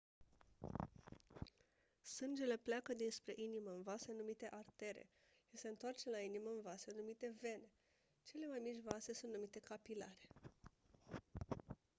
sângele pleacă dinspre inimă în vase numite artere și se întoarce la inimă în vase numite vene cele mai mici vase sunt numite capilare